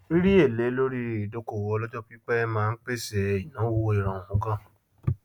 rírí èlé lorí ìdókòwò olọjọpípẹ máa n pèsè ìnáwó ìrọrùn gán